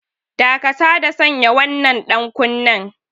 Dakata da sanya wannan ɗankunnen!